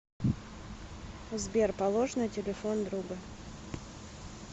сбер положь на телефон друга